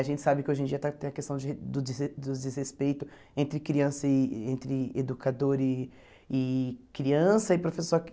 A gente sabe que hoje em dia está tem a questão de do desres do desrespeito entre criança e entre educador e e criança e professor que